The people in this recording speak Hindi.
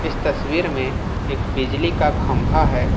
इस तस्वीर में एक बिजली का खंबा है।